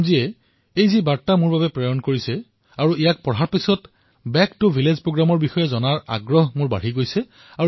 ভাই মহম্মদ আসলমজীয়ে যি বাৰ্তা মোলৈ প্ৰেৰণ কৰিছে আৰু সেয়া পঢ়াৰ পিছত বেক টু ভিলেজ কাৰ্যসূচীৰ বিষয়ে জনাৰ মোৰ উৎসুকতা বৃদ্ধি হৈছে